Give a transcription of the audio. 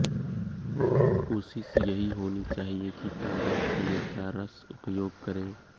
कोशिश यही होनी चाहिए कि ताजा खीरे का रस उपयोग करें